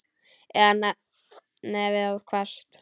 Eða nefið of hvasst.